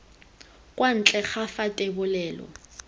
kwa ntle ga fa thebolelo